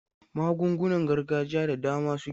Magungunar gargajiya da dama suke.